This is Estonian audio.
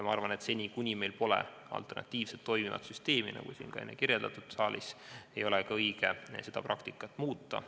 Ma arvan, et seni, kuni meil pole alternatiivset toimivat süsteemi, nagu siin saalis sai enne kirjeldatud, ei ole õige seda praktikat muuta.